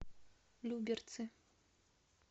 люберцы